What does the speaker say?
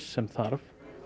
sem þarf